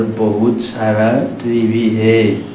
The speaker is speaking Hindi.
बहुत सारा ट्री भी है।